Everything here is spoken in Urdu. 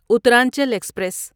اترانچل ایکسپریس